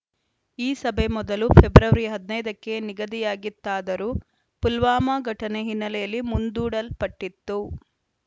ಈ ಸಭೆ ಮೊದಲು ಫೆಬ್ರವರಿ ಹದಿನೈದ ಕ್ಕೆ ನಿಗದಿಯಾಗಿತ್ತಾದರೂ ಪುಲ್ವಾಮಾ ಘಟನೆ ಹಿನ್ನೆಲೆಯಲ್ಲಿ ಮುಂದೂಡಲ್ಪಟ್ಟಿತ್ತು